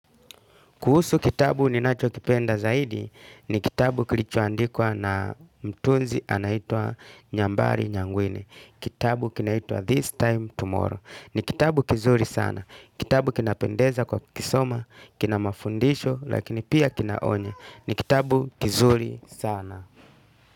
Kuhusu kitabu ninachokipenda zaidi ni kitabu kilichoandikwa na mtunzi anaitwa Nyambari Nyangwine. Kitabu kinaitua This Time Tomorrow. Ni kitabu kizuri sana. Kitabu kinapendeza kwa kukisoma, kina mafundisho, lakini pia kinaonya. Ni kitabu kizuri sana.